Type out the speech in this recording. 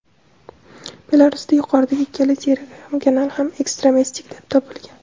Belarusda yuqoridagi ikkala Telegram kanal ham ekstremistik deb topilgan.